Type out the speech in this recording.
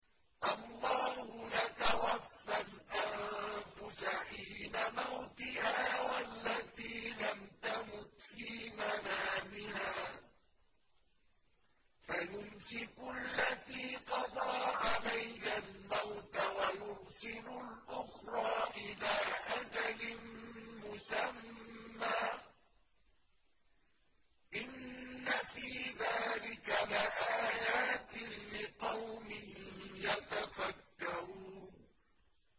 اللَّهُ يَتَوَفَّى الْأَنفُسَ حِينَ مَوْتِهَا وَالَّتِي لَمْ تَمُتْ فِي مَنَامِهَا ۖ فَيُمْسِكُ الَّتِي قَضَىٰ عَلَيْهَا الْمَوْتَ وَيُرْسِلُ الْأُخْرَىٰ إِلَىٰ أَجَلٍ مُّسَمًّى ۚ إِنَّ فِي ذَٰلِكَ لَآيَاتٍ لِّقَوْمٍ يَتَفَكَّرُونَ